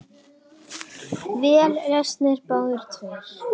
Vel lesnir, báðir tveir.